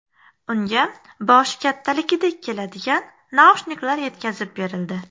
Unga boshi kattaligidek keladigan naushniklar yetkazib berildi .